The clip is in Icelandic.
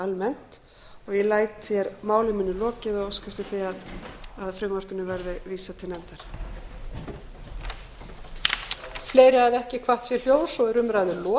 almennt og ég læt hér máli mínu lokið og óska eftir því að frumvarpinu verði vísað til nefndar